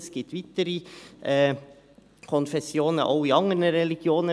Es gibt weitere Konfessionen, auch innerhalb anderer Religionen.